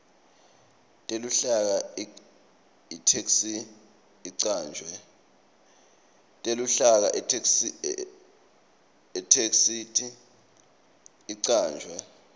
teluhlaka itheksthi icanjwe